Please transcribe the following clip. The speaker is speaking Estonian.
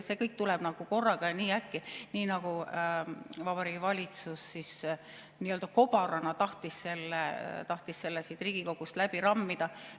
See kõik tuleb korraga ja nii äkki, nii nagu Vabariigi Valitsus nii‑öelda kobarana tahtis selle siit Riigikogust läbi rammida.